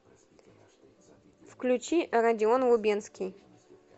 включи родион лубенский